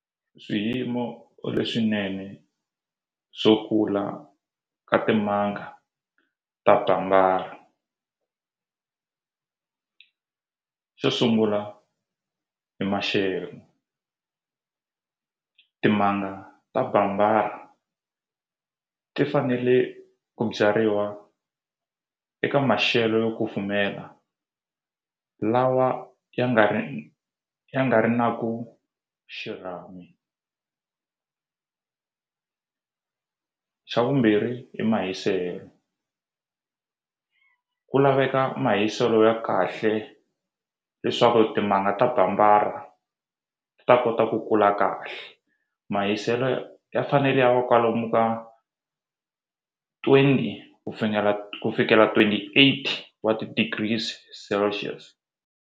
Swiyimo leswinene swo kula ka timanga ta xo sungula hi maxelo timanga bambara ti fanele ku byariwa eka maxelo yo kufumela lawa ya nga ri ya nga ri na ku xirhami xa vumbirhi i mahiselo ku laveka mahiselo ya kahle leswaku timanga bambara ta kota ku kula kahle mahiselo ya fanele ya va kwalomu ka twenty ku ku fikela twenty eight wa ti-degrees celcius.